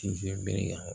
Sinzin bere